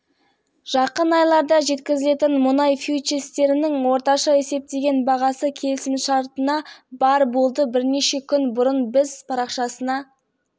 деп аталатын аккаунт соңғы аптада отандық желісінде үлкен талқыға түсті оған себеп болған сол жерде ұдайы салынып отыратын жалаңаш қыздардың